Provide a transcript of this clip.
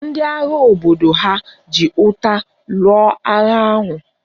Ndị agha obodo ha ji ụta lụọ agha ahụ